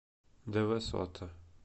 дэвэсота